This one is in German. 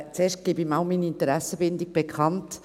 – Zuerst gebe ich mal meine Interessenbindung bekannt: